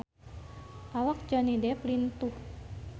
Awak Johnny Depp lintuh